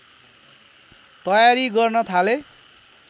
तयारी गर्न थाले